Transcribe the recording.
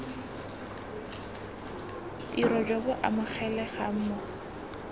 tiro jo bo amogelegang mo